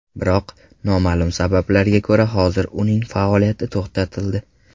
Biroq, noma’lum sabablarga ko‘ra hozir uning faoliyati to‘xtatildi.